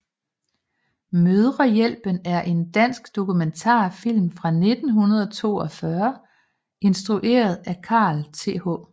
Mødrehjælpen er en dansk dokumentarfilm fra 1942 instrueret af Carl Th